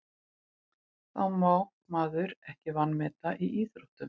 Það má maður ekki vanmeta í íþróttum.